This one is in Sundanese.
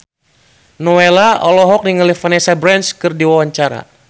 Nowela olohok ningali Vanessa Branch keur diwawancara